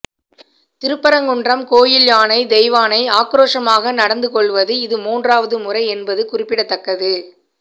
திருப்பரங்குன்றம் கோயில் யானை தெய்வானை ஆக்ரோஷமாக நடந்து கொள்வது இது மூன்றாவது முறை என்பது குறிப்பிடத்தக்கது